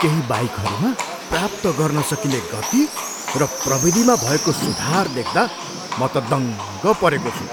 केही बाइकहरूमा प्राप्त गर्न सकिने गति र प्रविधिमा भएको सुधार देख्दा म त दङ्ग परेको छु।